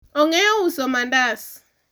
ong'eyo uso mandas